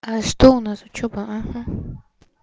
а что у нас учёба ага